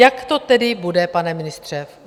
Jak to tedy bude, pane ministře?